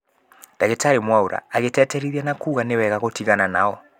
Ndagĩtarĩ Mwaũra agĩtĩtĩrithia na kuuga nĩ wega gũtigana nao